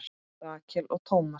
Rakel og Thomas.